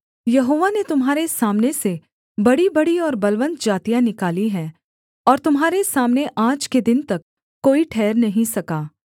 यहोवा ने तुम्हारे सामने से बड़ीबड़ी और बलवन्त जातियाँ निकाली हैं और तुम्हारे सामने आज के दिन तक कोई ठहर नहीं सका